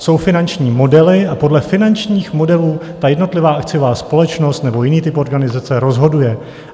Jsou finanční modely a podle finančních modelů ta jednotlivá akciová společnost nebo jiný typ organizace rozhoduje.